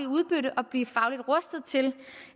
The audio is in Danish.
udbytte og blive fagligt rustet til